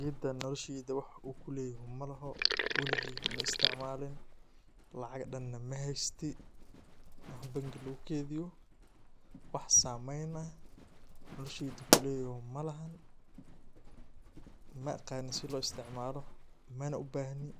Gedaan nolosheyda wax uu kuu leyahay malahoo waligeykaa maa isticmaalin lacag dhaan naa maa heystii wax bangii laguu keydiiyo wax sameyn aah nolosheeyda kuu leyahoo maalahan. maaqani sii loo isticmaalo maana ubahnii